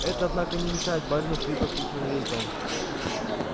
это однако не мешает барину хрипло крикнуть на весь дом